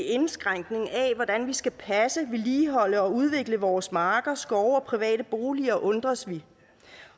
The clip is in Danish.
indskrænkning af hvordan vi skal passe vedligeholde og udvikle vores marker skove og private boliger undres vi